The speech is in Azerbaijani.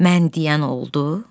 Mən deyən oldu?